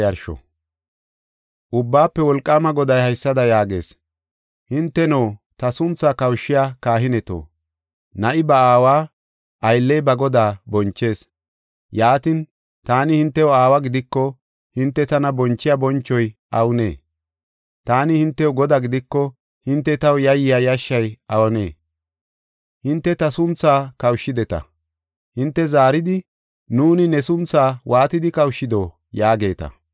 Ubbaafe Wolqaama Goday haysada yaagees: “Hinteno, ta sunthaa kawushiya kahineto, na7i ba aawa, aylley ba godaa bonchees. Yaatin, taani hintew aawa gidiko, hinte tana bonchiya bonchoy awunee? Taani hintew godaa gidiko, hinte taw yayiya yashay awunee? Hinte ta sunthaa kawushshideta. Hinte zaaridi, ‘Nuuni ne sunthaa waatidi kawushshido?’ yaageeta.